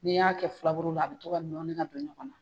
N'i y'a kɛ filaburu la a bɛ to ka nɔɔnni ka don ɲɔgɔn na.